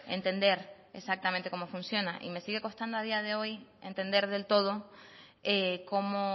entender exactamente cómo funciona y me sigue costando a día de hoy entender del todo cómo